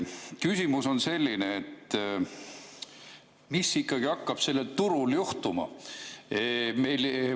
Küsimus on selline: mis ikkagi hakkab sellel turul juhtuma?